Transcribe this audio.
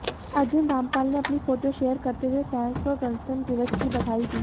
अर्जुन रामपाल ने अपनी photo share करते हुए फैंस को गणतंत्र दिवस की बधाई दी